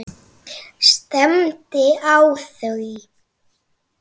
Stefndi á þau.